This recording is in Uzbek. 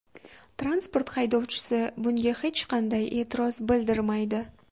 Transport haydovchisi bunga hech qanday e’tiroz bildirmaydi.